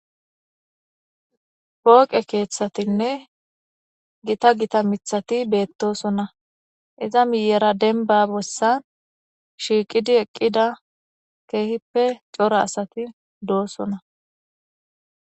pooqe keeththatinne gita gita mithati beettosona iza miyera denba bossan shiiqidi eqqida keehippe cora asati doosona